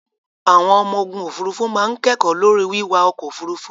Àwọn ọmọ ogun òfurufú máa kẹ́kọ̀ọ́ lórí wíwa ọkọ̀ òfurufú.